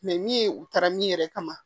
min ye u taara min yɛrɛ kama